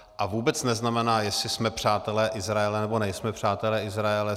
A vůbec neznamená, jestli jsme přátelé Izraele, nebo nejsme přátelé Izraele.